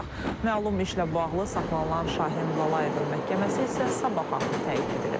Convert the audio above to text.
Məlum işlə bağlı saxlanılan Şahin Lalayevin məhkəməsi isə sabaha təyin edilib.